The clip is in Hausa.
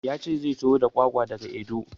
Ya ce zai taho da kwakwa da ga Edo.